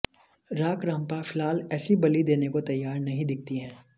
राक्रांपा फिलहाल ऐसी बलि देने को तैयार नहीं दिखती है